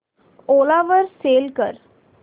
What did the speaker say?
ओला वर सेल कर